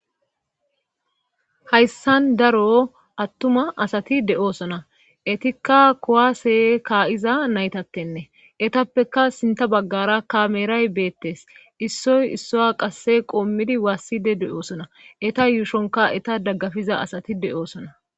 Hayssan daro attuma asati de7oosona etikka kowase kaa7iza naytattenne etappeka sinta baggara kameeray beettes issoy issoya qasse qoommidi waasside de7oosona eta yuushonka eta daggafiza asati de7osona